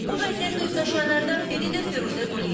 Bu vəziyyətlə üzləşənlərdən biri də Firuzə Quliyevadır.